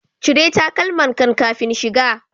Cire takalmankan kafin shiga.